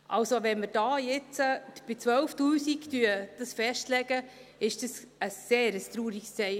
Also, wenn wir dies jetzt bei 12’000 Franken festlegen, ist es ein sehr trauriges Zeichen.